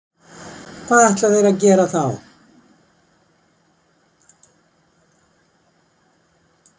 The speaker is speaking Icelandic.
Hvað ætla þeir að gera þá?